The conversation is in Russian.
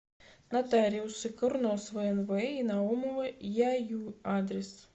нотариусы курносова нв и наумова яю адрес